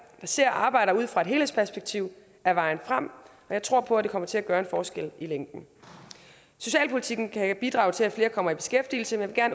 især arbejder ud fra et helhedsperspektiv er vejen frem og jeg tror på at det kommer til at gøre en forskel i længden socialpolitikken kan bidrage til at flere kommer i beskæftigelse men jeg